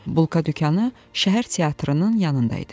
Bulka dükanı şəhər teatrının yanında idi.